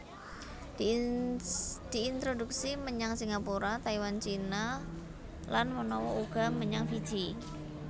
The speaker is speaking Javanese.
Diintroduksi menyang Singapura Taiwan Cina lan manawa uga menyang Fiji